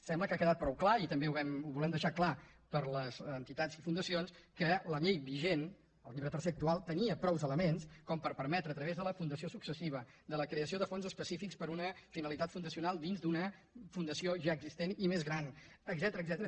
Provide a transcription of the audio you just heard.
sembla que ha quedat prou clar i també ho volem dei·xar clar per a les entitats i fundacions que la llei vi·gent el llibre tercer actual tenia prou elements com per permetre a través de la fundació successiva de la creació de fons específics per a una finalitat fun·dacional dins d’una fundació ja existent i més gran etcètera